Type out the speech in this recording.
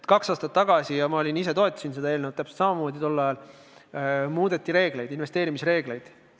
Kaks aastat tagasi – ja ma ise toetasin tol ajal seda eelnõu täpselt samamoodi – muudeti reegleid, investeerimisreegleid.